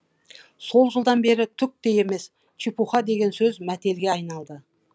сол жылдан бері түк те емес чепуха деген сөз мәтелге айналды